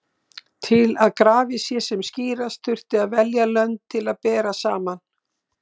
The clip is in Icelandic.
Til að grafið sé sem skýrast þurfti að velja lönd til að bera saman.